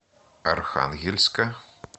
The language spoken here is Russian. архангельска